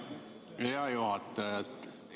Hea juhataja!